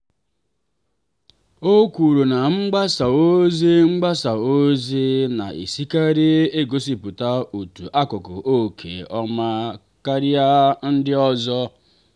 o kwuru ka mgbasa ozi mgbasa ozi na-esikarị egosipụta otu akụkụ nke ọma karịa ndị ọzọ.